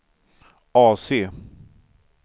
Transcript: AC